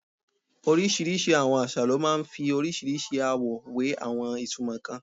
Orísìírísìí àwọn àṣà ló máa ń fi orísìírísìí àwọ̀ we àwọn ìtumọ̀ kan.